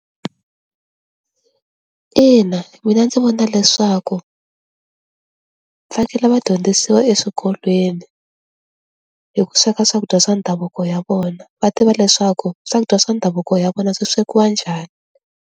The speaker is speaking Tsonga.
Ina mina ndzi vona leswaku fanekele va dyondzisiwa eswikolweni hi ku sweka swakudya swa ndhavuko ya vona va tiva leswaku swakudya swa ndhavuko ya vona swi swekiwa njhani.